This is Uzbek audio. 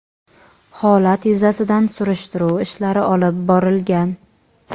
holat yuzasidan surishtiruv ishlari olib borilgan.